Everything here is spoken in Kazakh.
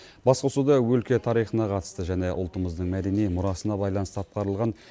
басқосуда өлке тарихына қатысты және ұлтымыздың мәдени мұрасына байланысты атқарылған